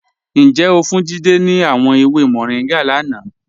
Njẹ́ o fún Jídẹ̀ ni àwọn èwè Moringa lánà?